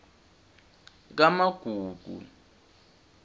kamagugu